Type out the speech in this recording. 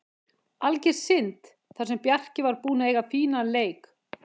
Alger synd, þar sem Bjarki var búinn að eiga fínan leik.